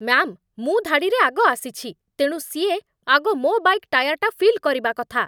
Ma'am, ମୁଁ ଧାଡ଼ିରେ ଆଗ ଆସିଛି, ତେଣୁ ସିଏ ଆଗ ମୋ' ବାଇକ୍ ଟାୟାର୍‌ଟା ଫିଲ୍ କରିବା କଥା ।